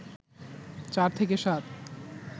চার থেকে সাত